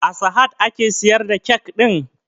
A sahad ake siyar da kyak ɗin?